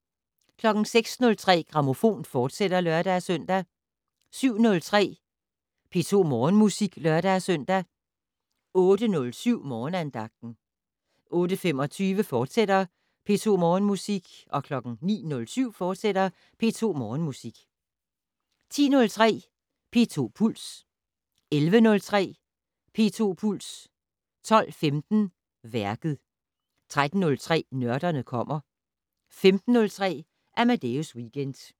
06:03: Grammofon, fortsat (lør-søn) 07:03: P2 Morgenmusik (lør-søn) 08:07: Morgenandagten 08:25: P2 Morgenmusik, fortsat 09:07: P2 Morgenmusik, fortsat 10:03: P2 Puls 11:03: P2 Puls 12:15: Værket 13:03: Nørderne kommer 15:03: Amadeus Weekend